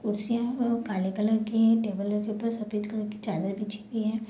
कुर्सियाँ है वो काले कलर की है टेबल रखी है ऊपर सफ़ेद कलर की चादर बिछी हुई है ।